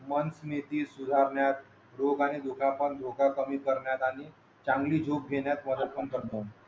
मन नीती सुधारण्यात रोग आणि दुखापत धोका कमी करण्यात आणि चांगले झोप घेण्यात मदत पण करतो